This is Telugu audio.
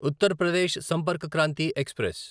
ఉత్తర్ ప్రదేశ్ సంపర్క్ క్రాంతి ఎక్స్ప్రెస్